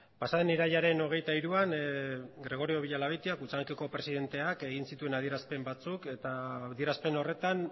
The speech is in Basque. pasaden irailaren hogeita hiruan gregorio villalabeitia kutxabankeko presidenteak egin zituen adierazpen batzuk eta adierazpen horretan